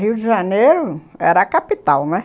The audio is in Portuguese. Rio de Janeiro era a capital, não é?